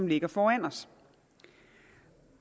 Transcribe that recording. ligger foran os